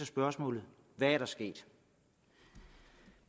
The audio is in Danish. spørgsmålet hvad er der sket